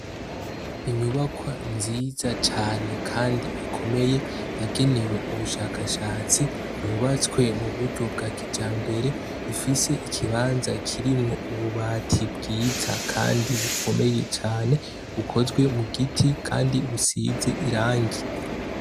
Inyubakwa nziza cane kandi ikomeye yagenewe ubushakashatsi yubatswe muburyo bwa kijambere, ifise ikibanza kirimwo ububati bwiza kandi bukomeye cane bukozwe mugiti kandi busize irangi.